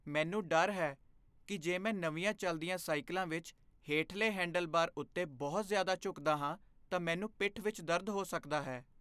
ਮੈਨੂੰ ਡਰ ਹੈ ਕਿ ਜੇ ਮੈਂ ਨਵੀਆਂ ਚੱਲਦੀਆਂ ਸਾਈਕਲਾਂ ਵਿੱਚ ਹੇਠਲੇ ਹੈਂਡਲਬਾਰ ਉੱਤੇ ਬਹੁਤ ਜ਼ਿਆਦਾ ਝੁਕਦਾ ਹਾਂ ਤਾਂ ਮੈਨੂੰ ਪਿੱਠ ਵਿਚ ਦਰਦ ਹੋ ਸਕਦਾ ਹੈ।